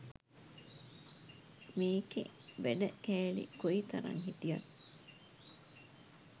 මේකෙ වැඩ කෑලි කොයිතරං හිටියත්